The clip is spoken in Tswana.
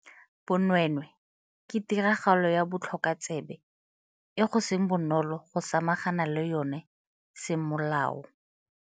Bonweenwee ke tiragalo ya botlhokotsebe e go seng bonolo go samagana le yona semolao.